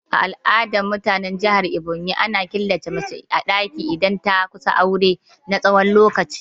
A al'adar mutanen jihar Ebonyi, ana killace mace a daki idan ta kusa aure na tsawon lokaci.